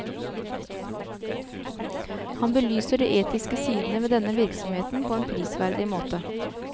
Han belyser de etiske sidene ved denne virksomheten på en prisverdig måte.